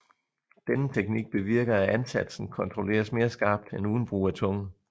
Denne teknik bevirker at ansatsen kontrolleres mere skarpt end uden brug af tunge